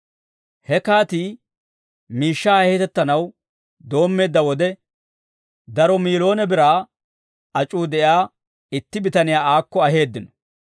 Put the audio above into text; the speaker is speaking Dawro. He kaatii miishshaa heetettanaw doommeedda wode, daro miiloone biraa ac'uu de'iyaa itti bitaniyaa aakko aheeddino.